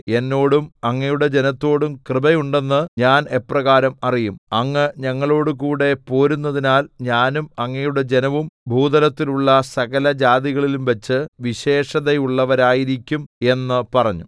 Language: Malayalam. എന്നോടും അങ്ങയുടെ ജനത്തോടും കൃപ ഉണ്ടെന്ന് ഞാൻ എപ്രകാരം അറിയും അങ്ങ് ഞങ്ങളോടുകൂടെ പോരുന്നതിനാൽ ഞാനും അങ്ങയുടെ ജനവും ഭൂതലത്തിലുള്ള സകലജാതികളിലുംവച്ച് വിശേഷതയുള്ളവരായിരിക്കും എന്ന് പറഞ്ഞു